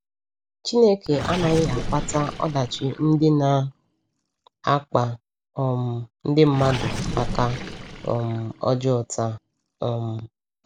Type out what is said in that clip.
Chineke anaghị akpata ọdachi ndị na - akpa um ndị mmadụ aka um ọjọọ taa. um